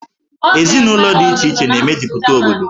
Ezinụlọ dị iche iche na-emejupụta obodo.